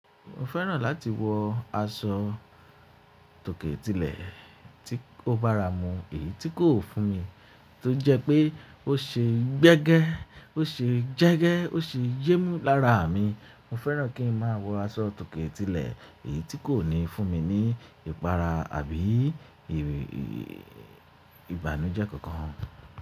Mo fẹ́ràn láti wọ aṣọ tòkè tilẹ̀ tí ó bá ra mú, èyí tí kò fún mi, tó jẹ́ pé ó ṣe gbẹ́gẹ́, ó ṣe jẹ́gẹ́, ó sì yémú lára mi. Mo fẹ́ràn kí n máa wọ aṣọ tòkè tilẹ̀ èyí tí kò ní fún mi ní ìpara àbí ìbànújẹ́ kankan.